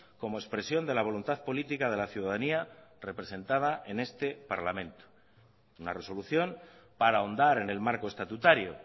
como expresión de la voluntad política de la ciudadanía representada en este parlamento una resolución para ahondar en el marco estatutario